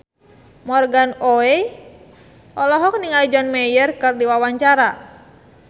Morgan Oey olohok ningali John Mayer keur diwawancara